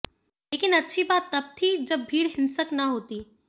लेकिन अच्छी बात तब थी जब भीड़ ंिहंसक न होती